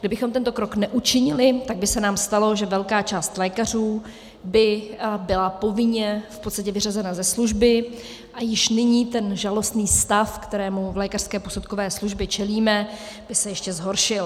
Kdybychom tento krok neučinili, tak by se nám stalo, že velká část lékařů by byla povinně v podstatě vyřazena ze služby a již nyní ten žalostný stav, kterému v lékařské posudkové službě čelíme, by se ještě zhoršil.